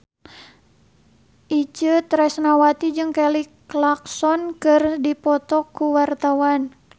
Itje Tresnawati jeung Kelly Clarkson keur dipoto ku wartawan